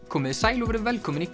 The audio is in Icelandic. komiði sæl og verið velkomin í